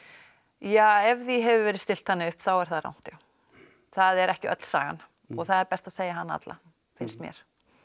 ja ef því hefur verið stillt þannig upp þá er það rangt já það er ekki öll sagan og það er best að segja hana alla finnst mér